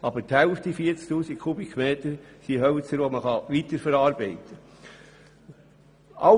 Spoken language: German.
Aber 40 000 m sind Hölzer, die man weiterverarbeiten kann.